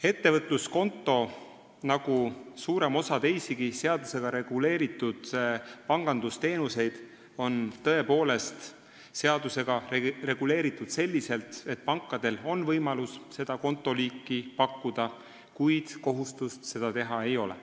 " Ettevõtluskonto nagu suurem osa teisigi seadusega reguleeritud pangandusteenuseid on tõepoolest seadusega reguleeritud selliselt, et pankadel on võimalus seda kontoliiki pakkuda, kuid kohustust seda teha ei ole.